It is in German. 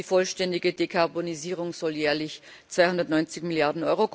Die vollständige Dekarbonisierung soll jährlich 290 Mrd.